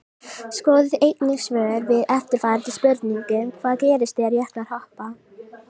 Skoðið einnig svör við eftirfarandi spurningum Hvað gerist þegar jöklar hopa?